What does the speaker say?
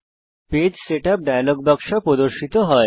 page setup dialog বাক্স প্রদর্শিত হয়